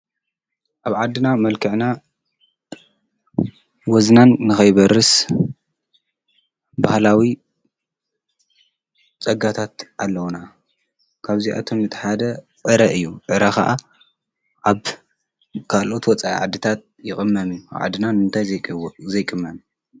ኣብ ዓድና መልከዕና ወዝናን ንኸይበርስ በህላዊ ጸጋታት ኣለውና ካብዚኣቶም ነተሓደ ዕረ እዩ ዕረ ኸዓ ኣብ ካልኦት ወፃኢ ዓድታት ይቕመም ኣብ ዓድናን እንታይ ዘይቕመን?